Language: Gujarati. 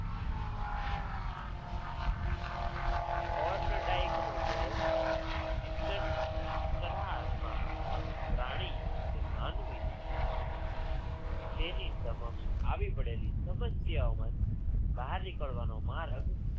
નો પ્રયોગ instant ખરા અર્થમાં પ્રાણી કે માનવી તેની સમક્ષ આવી પડેલી સમસ્યાઓમાંથી બહાર નિકળવાનો માર્ગ